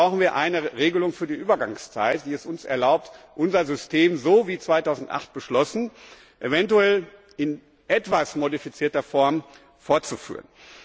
Deswegen brauchen wir eine Regelung für die Übergangszeit, die es uns erlaubt, unser System so wie 2008 beschlossen eventuell in etwas modifizierter Form fortzuführen.